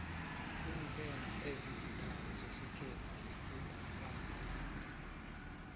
iiqhema ezigidako zesikhethu zigida kamnandi